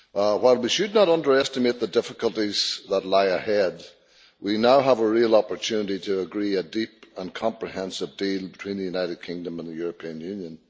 While we should not underestimate the difficulties that lie ahead, we now have a real opportunity to agree a deep and comprehensive deal between the United Kingdom and the European Union.